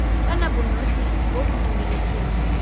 kana bonosi bo bo dumeletsweng